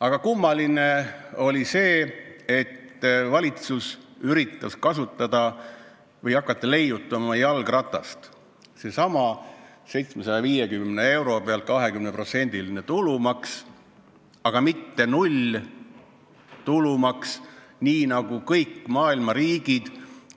Aga kummaline oli see, et valitsus üritas hakata jalgratast leiutama, pakkudes välja 750 euro pealt 20%-lise tulumaksu, mitte nullmääraga tulumaksu, nii nagu on sätestanud kõik maailma riigid,